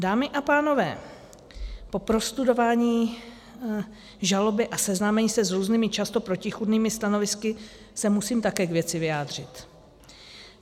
Dámy a pánové, po prostudování žaloby a seznámení se s různými, často protichůdnými stanovisky, se musím také k věci vyjádřit.